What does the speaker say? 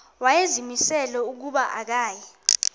wayezimisele ukuba akasayi